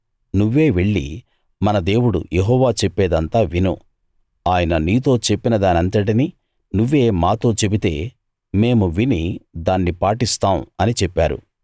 నువ్వే వెళ్ళి మన దేవుడు యెహోవా చెప్పేదంతా విను ఆయన నీతో చెప్పిన దానంతటినీ నువ్వే మాతో చెబితే మేము విని దాన్ని పాటిస్తాం అని చెప్పారు